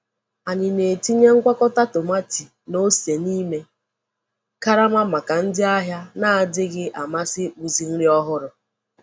Anyị na-etinye ngwakọta tomati na ose n’ime karama maka ndị ahịa na-adịghị amasị ịkpụzi nri ọhụrụ.